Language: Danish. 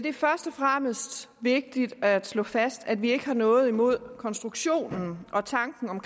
er først og fremmest vigtigt at slå fast at vi ikke har noget imod konstruktionen og tanken om